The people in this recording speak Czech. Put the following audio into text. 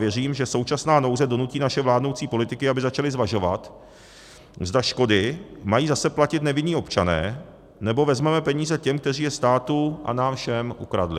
Věřím, že současná nouze donutí naše vládnoucí politiky, aby začali zvažovat, zda škody mají zase platit nevinní občané, nebo vezmeme peníze těm, kteří je státu a nám všem ukradli.